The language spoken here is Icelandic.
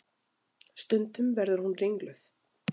Stundum verður hún ringluð.